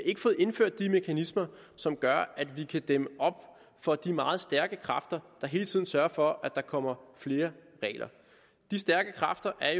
ikke fået indført de mekanismer som gør at vi kan dæmme op for de meget stærke kræfter der hele tiden sørger for at der kommer flere regler de stærke kræfter er